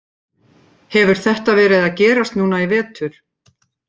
Hefur þetta verið að gerast núna í vetur?